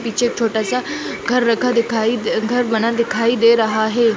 पीछे छोटा-सा घर रखा दिखाई अ घर बना दिखाई दे रहा है।